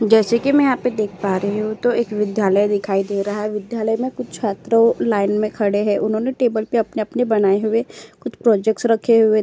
जैसे कि मैं यहाँ पर देख पा रही हूं तो एक विद्यालय दिखाई दे रहा है। विद्यालय में कुछ छात्रों लाइन में खड़े है। उन्होंने टेबल पर अपने-अपने बनाए हुए कुछ प्रोजेक्ट्स रखे हुए --